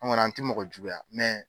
An kɔni an ti mɔgɔ juguya mɛ